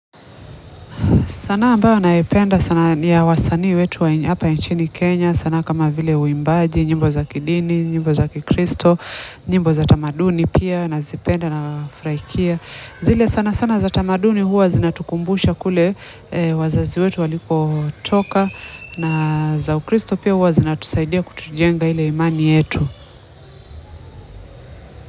Sanaa ambayo naipenda sana ya wasanii wetu wa hapa nchini Kenya, sanaa kama vile uimbaji, nyimbo za kidini, nyimbo za kikristo, nyimbo za tamaduni pia nazipenda nafurahikia. Zile sana sana za tamaduni huwa zinatukumbusha kule wazazi wetu walikotoka na za ukristo pia huwa zinatusaidia kutujenga ile imani yetu.